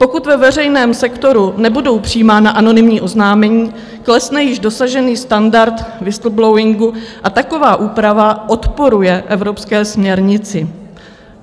Pokud ve veřejném sektoru nebudou přijímána anonymní oznámení, klesne již dosažený standard whistleblowingu a taková úprava odporuje Evropské směrnici.